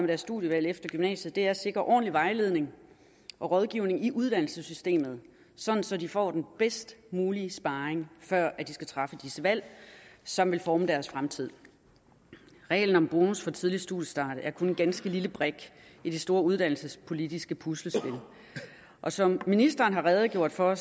deres studievalg efter gymnasiet er at sikre ordentlig vejledning og rådgivning i uddannelsessystemet så så de får den bedst mulige sparring før de skal træffe disse valg som vil forme deres fremtid reglen om bonus for tidlig studiestart er kun en ganske lille brik i det store uddannelsespolitiske puslespil og som ministeren har redegjort for